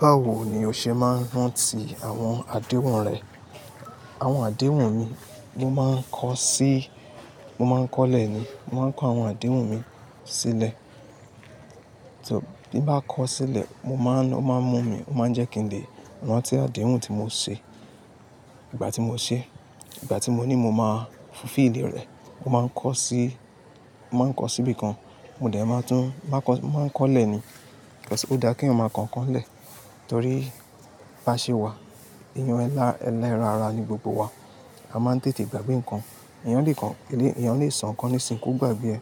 Báwo ni o ṣe máa ń rántí àwọn àdéhùn rẹ? Àwọn àdéhùn mi, mo máa ń kọ sí, mo máa ń kọ́lẹ̀ ni. Mo máa ń kọ àwọn àdéhùn mi sílẹ̀. Bí bá kọ sílẹ̀, mo máa ń, ó máa ń mú mi, ó máa ń jẹ́ kí n lè rántí àdéhùn tí mo ṣe ìgbà tí mo ṣe, ìgbà tí mo ní mo máa fi lé rẹ̀. Mo máa ń kọ sí, mo máa ń kọ síbi kan. Mo dẹ̀ máa tún, máa kọ, máa ń kọ́lẹ̀ ni. Ó dá kí èèyàn máa kọ nǹkan lẹ̀ torí bá ṣe wà, èèyàn ẹlẹ́ra ara ni gbogbo wa. A máa ń tètè gbàgbé nǹkan. Èèyàn lè kọ, èèyàn lè sọ nǹkan ní ìsìnkú gbàgbé ẹ,